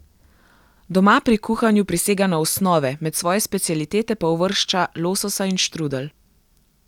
Doma pri kuhanju prisega na osnove, med svoje specialitete pa uvršča lososa in štrudelj.